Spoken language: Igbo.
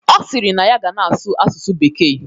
Ọ sịrị na ya ga na-asụ asụsụ bekee